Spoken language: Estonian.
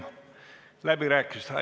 Suur tänu!